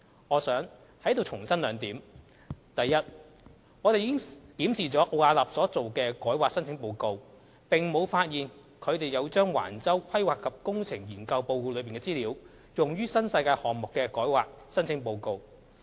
我想在此重申兩點：第一，我們已檢視了奧雅納所做的改劃申請報告，並沒有發現他們有將橫洲"規劃及工程"研究報告內的資料，用於新世界項目的改劃申請報告。